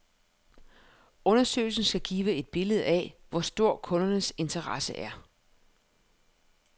Undersøgelsen skal give et billede af, hvor stor kundernes interesse er.